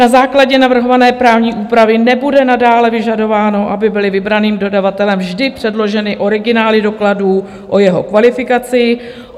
Na základě navrhované právní úpravy nebude nadále vyžadováno, aby byly vybraným dodavatelem vždy předloženy originály dokladů o jeho kvalifikaci.